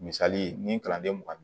Misali ni kalanden mugan ni